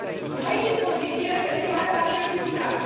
Noi dispoziții referitoare la certificate.